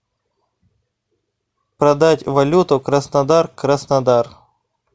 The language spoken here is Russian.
продать валюту краснодар краснодар